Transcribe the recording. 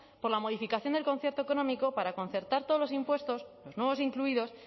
por la modificación del concierto económico para concertar todos los impuestos los nuevos incluidos